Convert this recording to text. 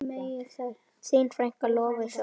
Þín frænka, Lovísa Ósk.